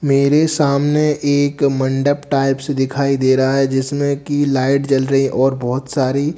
मेरे सामने एक मंडप टाइप्स दिखाई दे रहा है जिसमें की लाइट जल रही और बहोत सारी--